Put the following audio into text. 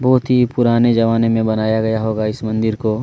बहुत ही पुराने जमाने में बनाया गया होगा इस मंदिर को--